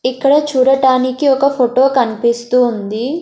ఇక్కడ చూడటానికి ఒక ఫోటో కనిపిస్తూ ఉంది.